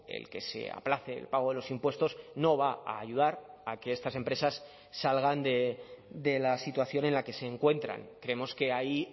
el que se aplace el pago de los impuestos no va a ayudar a que estas empresas salgan de la situación en la que se encuentran creemos que ahí